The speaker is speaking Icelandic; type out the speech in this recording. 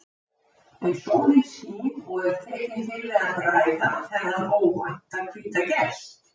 En sólin skín og er tekin til við að bræða þennan óvænta hvíta gest.